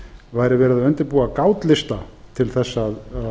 væri verið að undirbúa gátlista til þess að